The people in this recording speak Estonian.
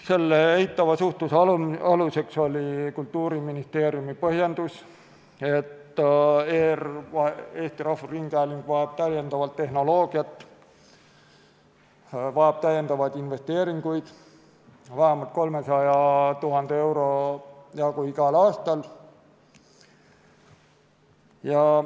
Selle eitava suhtumise aluseks oli Kultuuriministeeriumi põhjendus, et Eesti Rahvusringhääling vajab täiendavat tehnoloogiat, vajab täiendavaid investeeringuid vähemalt 300 000 euro jagu igal aastal.